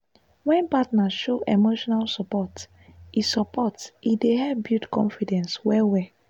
wen partner show emotional support e support e dey help build confidence well well.